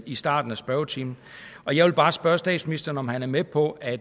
i starten af spørgetimen og jeg vil bare spørge statsministeren om han er med på at